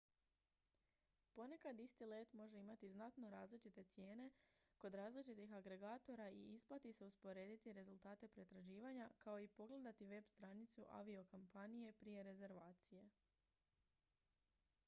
ponekad isti let može imati znatno različite cijene kod različitih agregatora i isplati se usporediti rezultate pretraživanja kao i pogledati web-stranicu aviokompanije prije rezervacije